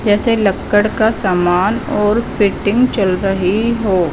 जैसे लक्कड़ का सामान और फिटिंग चल रही हो।